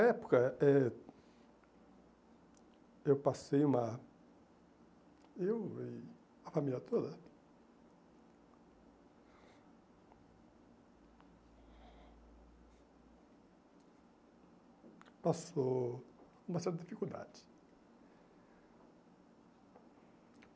Na época... eh eu passei uma... eu e a família toda... passou uma certa dificuldade.